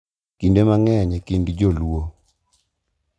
Kinde mang’eny e kind Jo-Luo,